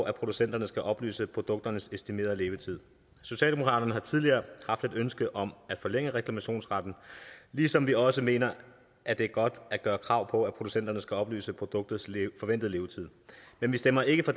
at producenterne skal oplyse produkternes estimerede levetid socialdemokratiet har tidligere haft et ønske om at forlænge reklamationsretten ligesom vi også mener at det er godt at gøre krav på at producenterne skal oplyse om produktets forventede levetid men vi stemmer ikke for